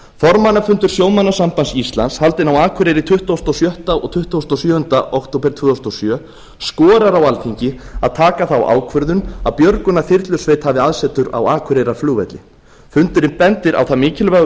formannafundur sjómannasambands íslands haldinn á akureyri tuttugasta og sjötta og tuttugasta og sjöunda október tvö þúsund og sjö skorar á alþingi að taka þá ákvörðun að björgunarþyrlusveit hafi aðsetur á akureyrarflugvelli fundurinn bendir á það mikilvæga